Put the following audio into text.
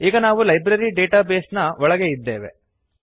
ಈಗ ನಾವು library database ನ ಒಳಗೆ ಇದ್ದೇವೆ